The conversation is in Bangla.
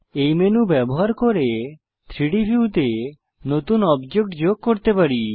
এই মেনু ব্যবহার করে 3ডি ভিউতে নতুন অবজেক্ট যোগ করতে পারি